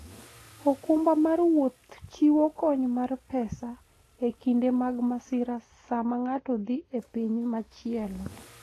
okumba mar wuoth chiwo kony mar pesa e kinde mag masira sama ng'ato dhi e piny machielo.